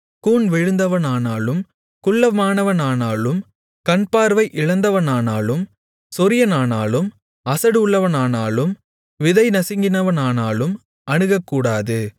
கூன் விழுந்தவனானாலும் குள்ளமானவனானாலும் கண் பார்வை இழந்தவனானாலும் சொறியனானாலும் அசடு உள்ளவனானாலும் விதை நசுங்கினவனானாலும் அணுகக்கூடாது